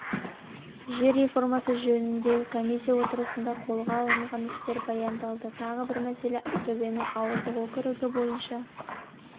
жер реформасы жөніндегі комиисия отырысында қолға алынған істер баяндалды тағы бір мәселе ақтөбенің ауылдық округі бойынша